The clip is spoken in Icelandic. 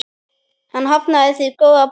Hann hafnaði því góða boði.